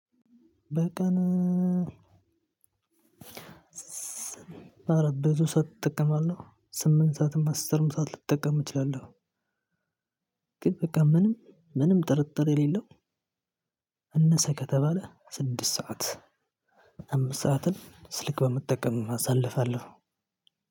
በቀን አረ ቤቱ ሰዓት እጠቀማለሁ ስምንት ሰዓትም አስርም ሰዓት ልጠቀም እችላለሁ። ግን በቃ ምንም ምንም ጥርጥር የሌለው እነሰ ከተባለ ስድስት ሰዓት። አምስት ሰዓትን ስልክ በመጠቀም አሳልፋለሁ።